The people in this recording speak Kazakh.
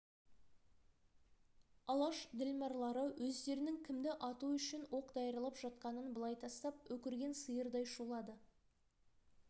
алаш ділмарлары өздерінің кімді ату үшін оқ даярлап жатқанын былай тастап өкірген сиырдай шулады